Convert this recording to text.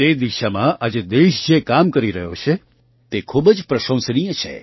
તે દિશામાં આજે દેશ જે કામ કરી રહ્યો છે તે ખૂબ જ પ્રશંસનીય છે